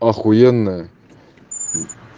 ахуенная